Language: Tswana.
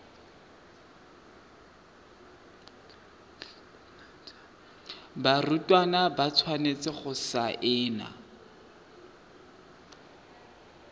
barutwana ba tshwanetse go saena